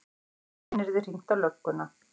Síðan yrði hringt á lögguna.